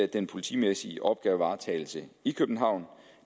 den politimæssige opgavevaretagelse i københavn